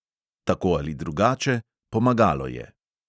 Tako ali drugače: pomagalo je!